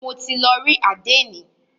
Mo ti lọ rí àdénì.